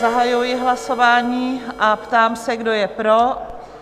Zahajuji hlasování a ptám se, kdo je pro?